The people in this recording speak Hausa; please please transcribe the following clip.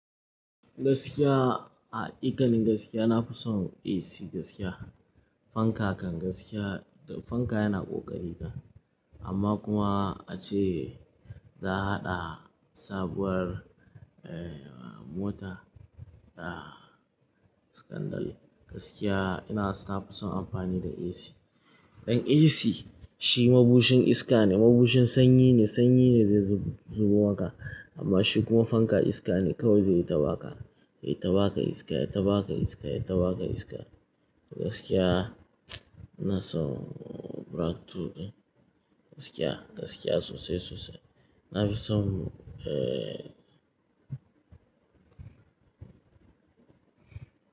Gaskiya a haƙiƙanin gaskiya na fi son AC gaskiya. Fanka kan gaskiya, fanka yana ƙoƙari kan amma kuma a ce za a haɗa sabuwar mota da sikandari. Gaskiya ina so, na fi son amfani da AC. Dan AC shi mabushin iska ne, mabushin sanyi ne, sanyi ne zai zubo maka, amma shi kuma fanka iska ne kawai zai yi ta baka, yai ta baka iska, yai ta baka iska, yai ta baka iska. Gaskiya ban son black tool din. Gaskiya, gaskiya sosai sosai. Na fi son eh.